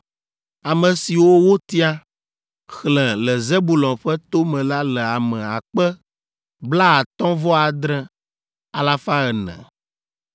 Ame siwo wotia, xlẽ le Zebulon ƒe to me la le ame akpa blaatɔ̃-vɔ-adre, alafa ene (57,400).